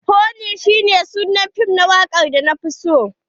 Honey shi ne sunan fim na wakar da na fi so.